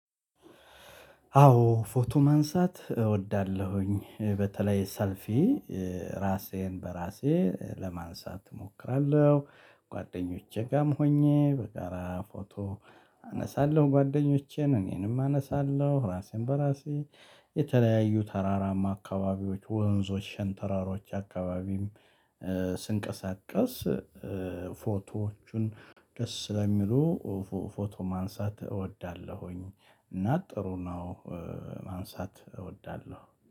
አዎ ፎቶ ማንሳት እወዳለሁኝ በተለይ ሰልፊ ራሴን በራሴ ለማንሳት እሞክራለሁ ጎደኞቼጋም ሆኜ በጋራ ፎቶ አነሳለሁ ጎደኞቼን እኔሰም አነሳለሁ ራሴን በራሴ የተለያዩ ተራራማ አካባቢዎች ወንዞች ሸንተራሮች አካባቢም ስንቀሳቀስ ፎቶዎቹን ደስ ስለሚሉ ፎቶ ማንሳት እወዳለሁኝ እና ጥሩ ነው። ማንሳት እወዳለሁ